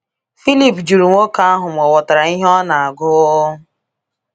Filip jụrụ nwoke ahụ ma ọ ghọtara ihe ọ na-agụ.